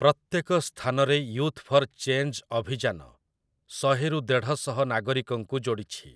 ପ୍ରତ୍ୟେକ ସ୍ଥାନରେ 'youth for change' ଅଭିଯାନ ଶହେରୁ ଦେଢ଼ଶହ ନାଗରିକଙ୍କୁ ଯୋଡ଼ିଛି ।